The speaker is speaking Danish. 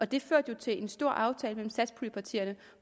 det førte jo til en stor aftale mellem satspuljepartierne